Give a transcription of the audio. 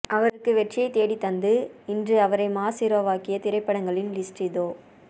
அவருக்கு வெற்றியை தேடித்தந்து இன்று அவரை மாஸ் ஹீரோவாக்கிய திரைப்படங்களின் லிஸ்ட் இதோ